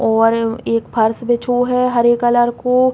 और एक फर्श बिछो है हरे कलर को।